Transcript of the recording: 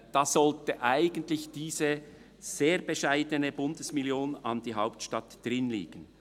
Da sollte eigentlich diese sehr bescheidene Bundesmillion an die Hauptstadt drinliegen.